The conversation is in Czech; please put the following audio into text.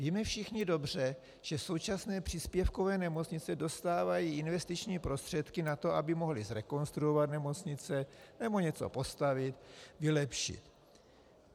Víme všichni dobře, že současné příspěvkové nemocnice dostávají investiční prostředky na to, aby mohly zrekonstruovat nemocnice nebo něco postavit, vylepšit.